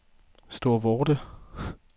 Storvorde